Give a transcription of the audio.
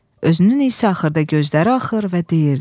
Özünün isə axırda gözləri axır və deyirdi: